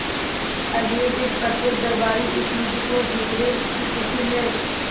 अगले दिन प्रत्येक दरबारी इस युद्ध को जीतने की खुशी में